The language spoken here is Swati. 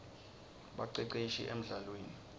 baceceshi emldlalweni